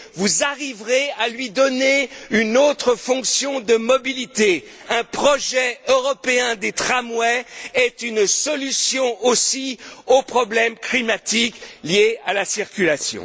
Vous arriverez à lui donner une autre fonction de mobilité. Un projet européen des tramways est une solution aussi aux problèmes climatiques liés à la circulation.